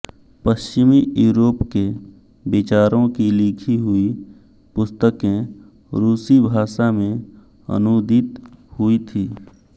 पश्चिमी यूरोप के विचारों की लिखी हुई पुस्तकें रूसी भाषा में अनूदित हुई थीं